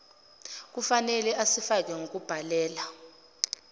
kufnele asifake ngokubhalela